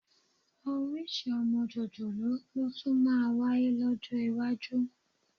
Orísìí ọmọ jòjòló ló tún máa wáyé lọ́jọ́ iwájú